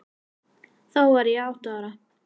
Þá var ég átta ára.